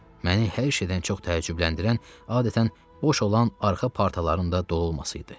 Məni hər şeydən çox təəccübləndirən adətən boş olan arxa partaların da dolu olması idi.